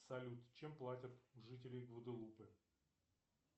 салют чем платят жители гваделупы